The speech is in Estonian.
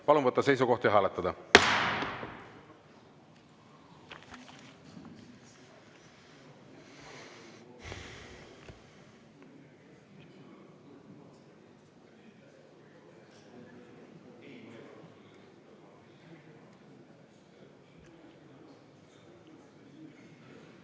Palun võtta seisukoht ja hääletada!